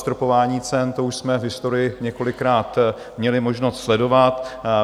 Zastropování cen, to už jsme v historii několikrát měli možnost sledovat.